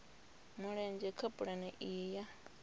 mulenzhe kha pulane iyi ya